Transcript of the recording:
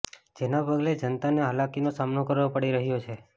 જેના પગલે જનતાને હાલાકીનો સામનો કરવો પડી રહ્યો છે